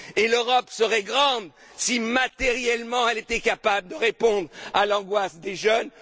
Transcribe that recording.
L'Europe serait grande si, matériellement, elle était capable de répondre à l'angoisse des jeunes.